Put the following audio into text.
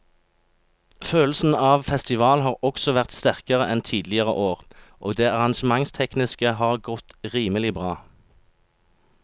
Følelsen av festival har også vært sterkere enn tidligere år og det arrangementstekniske har godt rimelig bra.